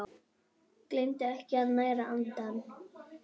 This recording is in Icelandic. Gleymdu ekki að næra andann!